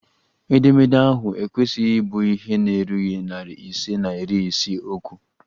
Edemede ahụ ekwesịghị ịbụ ihe na-erughị narị ise na iri isii okwu!